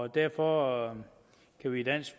derfor kan vi i dansk